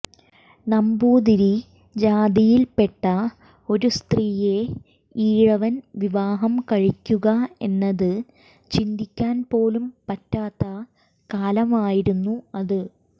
നമ്പൂതിരി ജാതിയിൽപ്പെട്ട ഒരു സ്ത്രീയെ ഈഴവൻ വിവാഹം കഴിക്കുക എന്നത് ചിന്തിക്കാൻ പോലും പറ്റാത്ത കാലമായിരുന്നു അത്